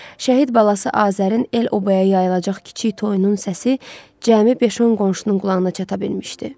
Şəhid balası Azərin el-obaya yayılacaq kiçik toyunun səsi cəmi beş-on qonşunun qulağına çata bilmişdi.